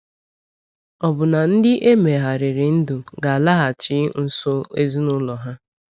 Ọ̀ bụ na ndị e megharịrị ndụ ga-alaghachi nso ezinụlọ ha?